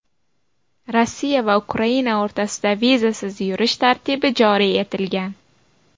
Rossiya va Ukraina o‘rtasida vizasiz yurish tartibi joriy etilgan.